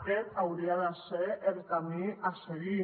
aquest hauria de ser el camí a seguir